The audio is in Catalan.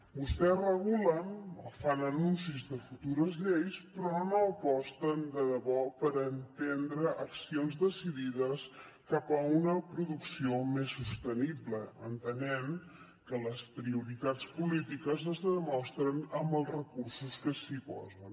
vostès regulen o fan anuncis de futures lleis però no aposten de debò per emprendre accions decidides cap a una producció més sostenible entenent que les prioritats polítiques es demostren amb els recursos que s’hi posen